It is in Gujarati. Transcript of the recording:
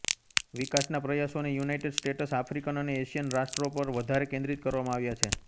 વિકાસના પ્રયાસોને યુનાઈટેડ સ્ટેટસ આફ્રિકન અને એશિયન રાષ્ટ્રો પર વધારે કેન્દ્રીત કરવામાં આવ્યા છે